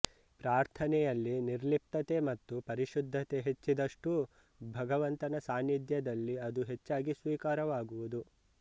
ಪ್ರಾರ್ಥನೆಯಲ್ಲಿ ನಿರ್ಲಿಪ್ತತೆ ಮತ್ತು ಪರಿಶುದ್ಧತೆ ಹೆಚ್ಚಿದಷ್ಟೂ ಭಗವಂತನ ಸಾನ್ನಿಧ್ಯದಲ್ಲಿ ಅದು ಹೆಚ್ಚಾಗಿ ಸ್ವೀಕಾರವಾಗುವುದು